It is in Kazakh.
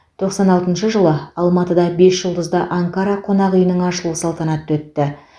тоқсан алтыншы жылы алматыда бесжұлдызды анкара қонақ үйінің ашылу салтанаты өтті